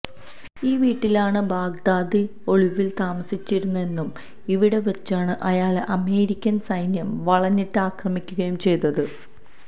ഈ വിട്ടലാണ് ബാഗ്ദാദി ഒളിവില് താമസിച്ചിരുന്നതെന്നും ഇവിടെ വച്ചാണ് അയാളെ അമേരിക്കന് സൈന്യം വളഞ്ഞിട്ട് അക്രമിക്കുകയും ചെയ്തത്